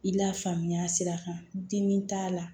I la faamuya sira kan dimi t'a la